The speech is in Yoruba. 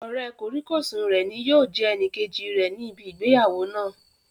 Ọ̀rẹ́ kòríkòsùn rẹ̀ ni yóò jẹ́ ẹnìkejì rẹ̀ ní ibi ìgbéyàwó náà